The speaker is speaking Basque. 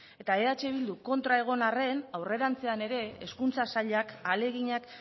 eta eh bildu kontra egon arren aurrerantzean ere hezkuntza sailak ahaleginak